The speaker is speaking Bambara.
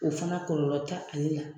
O fana kɔlɔlɔ t'ale la.